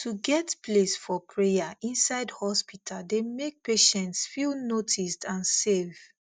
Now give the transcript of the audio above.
to get place for prayer inside hospital dey make patients feel noticed and safe